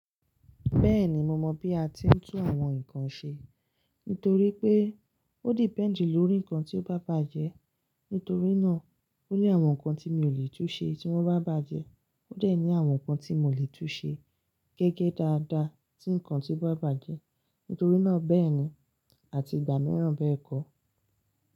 Bẹ́ẹ̀ni, mo mọ̀ bí a ti ń tún àwọn nǹkan ṣe. Nítorí pé ó depend lórí nǹkan tí ó bá bàjẹ́. Nítorí náà ó ní àwọn nǹkan tí mi ò lè tún ṣe tí wọ́n bá bàjẹ́, ó dẹ̀ ní àwọn nǹkan tí mo lè tún ṣe gẹ́gẹ́ dáadáa tí nǹkan tí ó bá bàjẹ́. Nítorí náà bẹ́ẹ̀ ni, àti ìgbà mìíràn bẹ́ẹ̀ kọ́.